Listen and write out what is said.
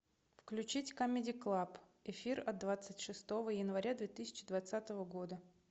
включить камеди клаб эфир от двадцать шестого января две тысячи двадцатого года